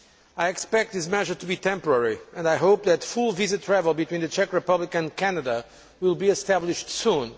I expect this measure to be temporary and I hope that full visa travel between the Czech Republic and Canada will be established soon.